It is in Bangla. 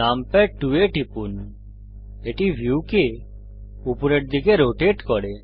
নামপ্যাড 2 এ টিপুন এটি ভিউকে উপরের দিকে রোটেট করে